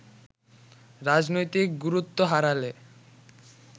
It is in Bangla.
রাজনৈতিক গুরুত্ব হারালে